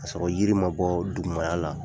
Ka sɔrɔ yiri ma bɔ dugumala la